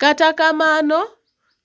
Kata kamano,